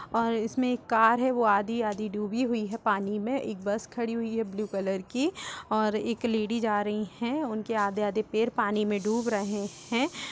और इसमें एक कार है वो आधी-आधी डूबी हुई है पानी में एक बस खड़ी हुई है ब्लू कलर की और एक लेडिज आ रही है और उनके आधे-आधे पैर पानी में डूब रहे हैं।